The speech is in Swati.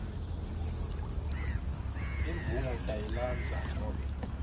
imvumo utayilandza nobe